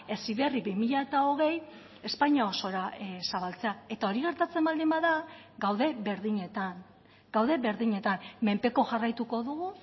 heziberri bi mila hogei espainia osora zabaltzea eta hori gertatzen baldin bada gaude berdinetan gaude berdinetan menpeko jarraituko dugu